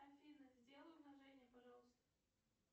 афина сделай умножение пожалуйста